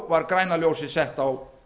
var græna ljósið sett á